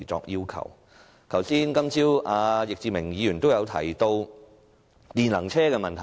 易志明議員今早提到電能車的問題。